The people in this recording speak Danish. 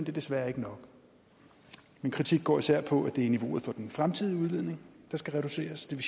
er desværre ikke nok min kritik går især på at det er niveauet for den fremtidige udledning der skal reduceres det